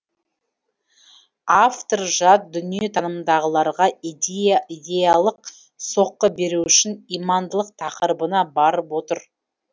автор жат дүниетанымдағыларға идеялық соққы беру үшін имандылық тақырыбына барып отыр